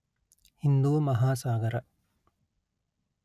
Hindu Mahasagara